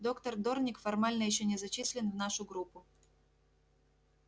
доктор дорник формально ещё не зачислен в нашу группу